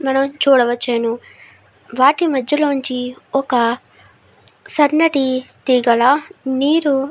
మనం చూడవచును వాటి మధ్య లోచి ఒక సన్నటి తేగల నీరు --